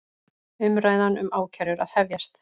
Umræða um ákærur að hefjast